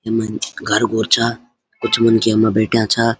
यम घर-घुर छा कुछ मनखी यमा बैठ्याँ छा।